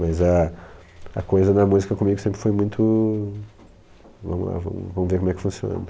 Mas a a coisa da música comigo sempre foi muito... Vamos lá, vamos vamos ver como é que funciona.